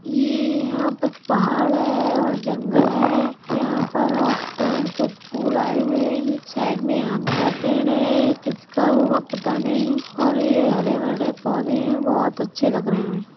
ये यहाँ पर पहाड़ हैऔर जंगल है। यहाँ पर और पेड़ पे फूल आयें हुए हैं। साइड में आम का पेड़ है या किसका होगा पता नहीं और ये हरे भरे पौधे हैं बहुत अच्छे लग रहें हैं।